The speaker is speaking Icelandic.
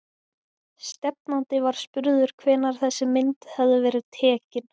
Stefnandi var spurður hvenær þessi mynd hefði verið tekin?